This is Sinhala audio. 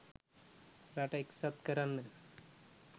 රට එක්සත් කරන්න